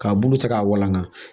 K'a bulu cɛ k'a walanka